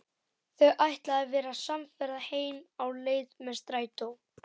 Þau ætla að verða samferða heim á leið með strætó.